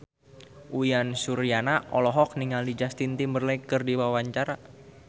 Uyan Suryana olohok ningali Justin Timberlake keur diwawancara